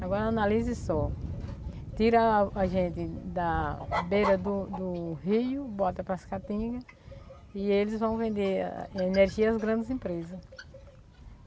Agora analise só, tira a gente da beira do do rio, bota para as catingas e eles vão vender energia as grandes empresas.